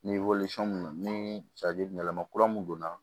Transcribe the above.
Ni mun don ni yɛlɛma kura mun don na